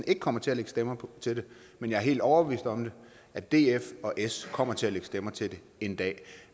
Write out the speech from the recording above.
ikke kommer til at lægge stemmer til det men jeg helt overbevist om at df og s kommer til at lægge stemmer til det en dag